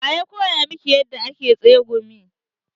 Wa ya koya miki yadda ake tsegumi?